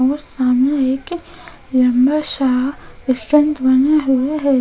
लंबा सा स्टैन्ड बना हुआ है।